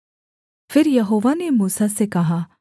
फिर यहोवा ने मूसा से कहा